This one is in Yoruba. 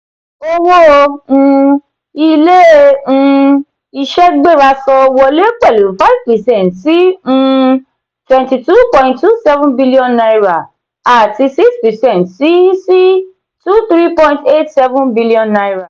owó um ilé ilée um iṣé gbéra sọ wọ lé pẹlu five percent sí um two two point two seven billion naira àti six percent sí sí two three point eight seven billion naira.